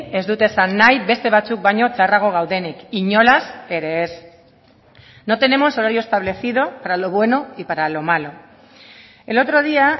ez dut esan nahi beste batzuk baino txarrago gaudenik inolaz ere ez no tenemos horario establecido para lo bueno y para lo malo el otro día